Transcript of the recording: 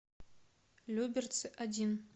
люберцы один